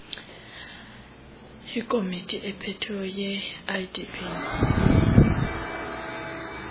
ikomiti ephetheyo yeidp